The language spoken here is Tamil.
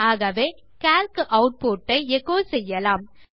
ஆகவே கால்க் ஆட்புட் ஐ எச்சோ செய்யலாம்